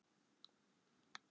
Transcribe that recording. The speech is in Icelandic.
Konunum tókst það.